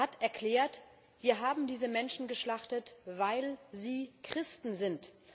Er hat erklärt Wir haben diese Menschen geschlachtet, weil sie Christen sind.